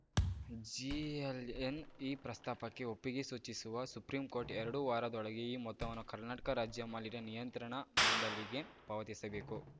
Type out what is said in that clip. GLN ಈ ಪ್ರಸ್ತಾಪಕ್ಕೆ ಒಪ್ಪಿಗೆ ಸೂಚಿಸಿವ ಸುಪ್ರೀಂಕೋರ್ಟ್‌ ಎರಡು ವಾರದೊಳಗೆ ಈ ಮೊತ್ತವನ್ನು ಕರ್ನಾಟಕ ರಾಜ್ಯ ಮಾಲಿನ್ಯ ನಿಯಂತ್ರಣ ಮಂಡಳಿಗೆ ಪಾವತಿಸಬೇಕು